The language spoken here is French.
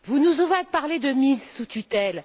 Vous nous avez parlé de mise sous tutelle.